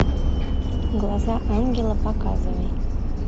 глаза ангела показывай